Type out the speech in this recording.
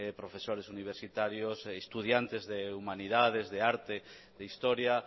profesores universitarios estudiantes de humanidades de arte de historia